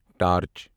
torch